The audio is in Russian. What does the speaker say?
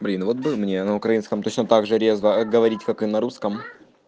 блин вот бы мне на украинском точно также резво говорить как и на русском